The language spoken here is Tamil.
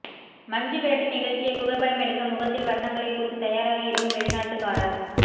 மஞ்சுவிரட்டு நிகழ்ச்சியை புகைப்படம் எடுக்க முகத்தில் வர்ணங்களை பூசி தயாராக இருக்கும் வெளிநாட்டுக்காரர்